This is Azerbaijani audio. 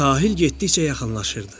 Sahil getdikcə yaxınlaşırdı.